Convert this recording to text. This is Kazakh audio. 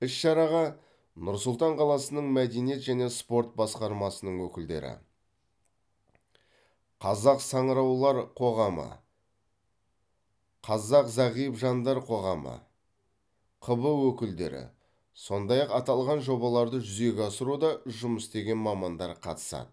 іс шараға нұр сұлтан қаласының мәдениет және спорт басқармасының өкілдері қазақ саңыраулар қоғамы қазақ зағип жандар қоғамы қб өкілдері сондай ақ аталған жобаларды жүзеге асыруда жұмыс істеген мамандар қатысады